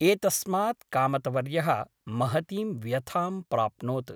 एतस्मात् कामतवर्यः महतीं व्यथां प्राप्नोत् ।